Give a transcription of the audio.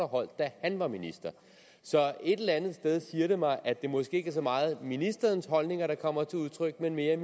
holdt da han var minister et eller andet sted siger det mig at det måske ikke så meget er ministerens holdninger der kommer til udtryk men mere